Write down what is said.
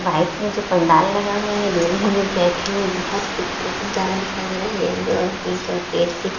right में जो पंडाल लगा हुआ है दूर भी बैठे हुए बहुत ही खुबसूरत नजारा दिखाई दे रहा है येलो और पिंक और रेड सी --